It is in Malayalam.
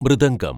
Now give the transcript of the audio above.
മൃദംഗം